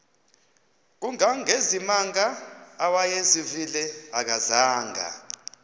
kangangezimanga awayezivile akazanga